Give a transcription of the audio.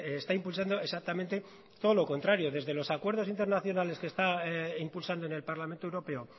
está impulsando exactamente todo lo contrario desde los acuerdos internacionales que está impulsando en el parlamento europeo